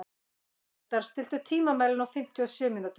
Eldar, stilltu tímamælinn á fimmtíu og sjö mínútur.